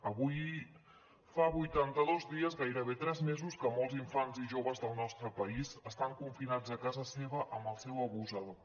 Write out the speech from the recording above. avui fa vuitantados dies gairebé tres mesos que molts infants i joves del nostre país estan confinats a casa seva amb el seu abusador